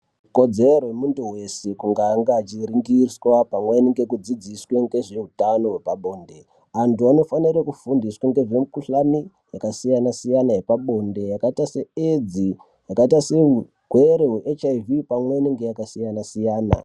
Kodzero yemuntu weshe kuti ange achiringiswa pamweni ngekudzidziswe ngezveutano hwepabonde antu anofanire kufundiswe ngezvemikhuhlani yakasiyana siyana yepabonde yakaita se AIDS yakaita seurwere hwe HIV pamwe inenge yakasiyana siyana.